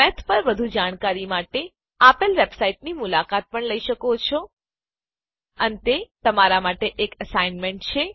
math પર વધુ જાણકારી માટે આપેલ વેબસાઈટની મુલાકાત પણ લઇ શકો છો helplibreofficeorgમાથ અને અંતે તમારી માટે એક એસાઇનમેંટ છે